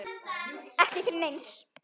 Ekki til neins?